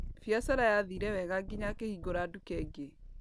Biacara yathire wega nginya akĩhingũra duka ĩngĩ.